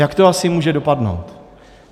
Jak to asi může dopadnout?